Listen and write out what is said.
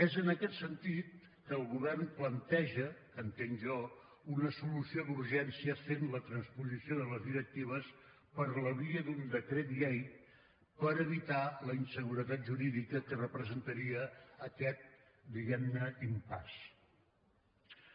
és en aquest sentit que el govern planteja entenc jo una solució d’urgència fent la transposició de les directives per la via d’un decret llei per evitar la inseguretat jurídica que representaria aquest diguemne impasse